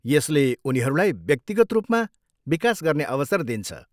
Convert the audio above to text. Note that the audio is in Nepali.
यसले उनीहरूलाई व्यक्तिगत रूपमा विकास गर्ने अवसर दिन्छ।